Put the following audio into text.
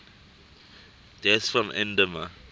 deaths from edema